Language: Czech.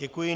Děkuji.